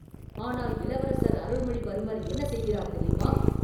ஆனால் இளவரசர் அருள்மொழிவர்மர் என்ன செய்கிறார் தெரியுமா?